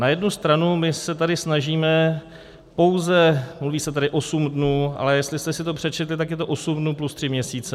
Na jednu stranu my se tady snažíme pouze - mluví se tady osm dnů, ale jestli jste si to přečetli, tak je to osm dnů plus tři měsíce.